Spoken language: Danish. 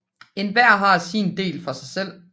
Enhver har sin del for sig selv